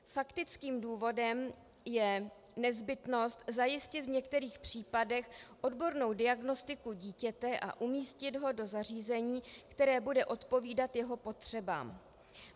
Faktickým důvodem je nezbytnost zajistit v některých případech odbornou diagnostiku dítěte a umístit ho do zařízení, které bude odpovídat jeho potřebám.